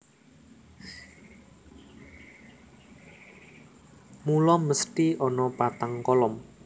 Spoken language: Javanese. Mula mesthi ana patang kolom